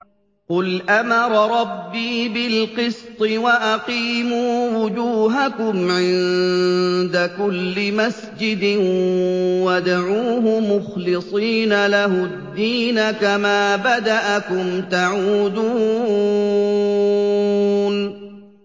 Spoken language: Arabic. قُلْ أَمَرَ رَبِّي بِالْقِسْطِ ۖ وَأَقِيمُوا وُجُوهَكُمْ عِندَ كُلِّ مَسْجِدٍ وَادْعُوهُ مُخْلِصِينَ لَهُ الدِّينَ ۚ كَمَا بَدَأَكُمْ تَعُودُونَ